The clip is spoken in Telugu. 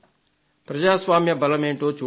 ప్రజాస్వామ్య బలమేంటో చూడండి